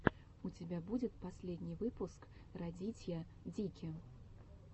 у тебя будет последний выпуск радитья дики